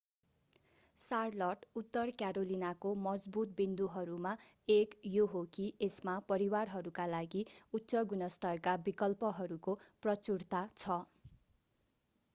Charlotte उत्तर क्यारोलिनाको मजबुत बिन्दुहरूमा एक यो हो कि यसमा परिवारहरूका लागि उच्च-गुणस्तरका विकल्पहरूको प्रचुरता छ